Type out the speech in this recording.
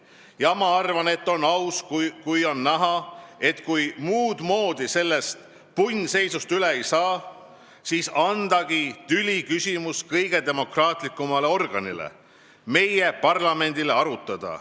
Ja ma arvan, et on aus, kui on näha, et kui muudmoodi sellest punnseisust üle ei saa, siis andagi tüliküsimus kõige demokraatlikumale organile – meie parlamendile arutada.